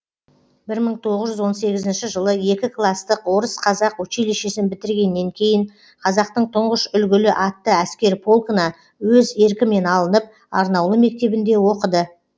бір мың тоғыз жүз он сегізінші жылы екі класстық орыс қазақ училищесін бітіргеннен кейін қазақтың тұңғыш үлгілі атты әскер полкіна өз еркімен алынып арнаулы мектебінде оқыды